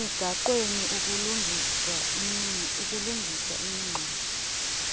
emigaqweni ukulungisa imingxunya